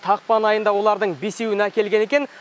ақпан айында олардың бесеуін әкелген екен